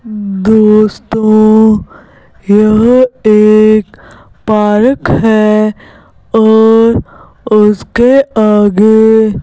दोस्तों यह एक पारक है और उसके आगे --